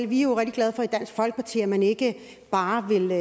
vi er jo rigtig glade for i dansk folkeparti at man ikke bare vil